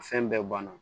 Fɛn bɛɛ banna